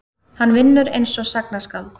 Hann vinnur einsog sagnaskáld.